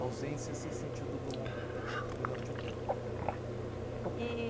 A ausência se sentiu do lon, durante o tempo. E